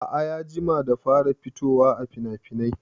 A'a ya jima da fara fitowaa finafinai